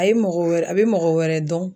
A ye mɔgɔ wɛrɛ a bi mɔgɔ wɛrɛ dɔn